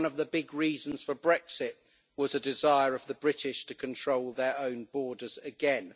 one of the big reasons for Brexit was the desire of the British to control their own borders again.